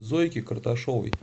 зойке карташовой